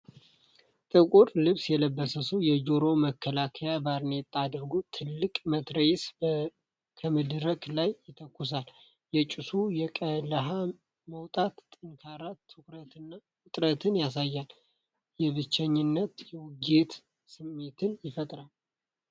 ጥቁር ልብስ የለበሰ ሰው የጆሮ መከላከያና ባርኔጣ አድርጎ ትልቅ መትረየስ ከመድረክ ላይ ይተኩሳል። የጭሱና የቀለሀ መውጣት ጠንካራ ትኩረትንና ውጥረትን ያሳያል፤ የብቸኝነትና የውጊያ ስሜትን ይፈጥራል።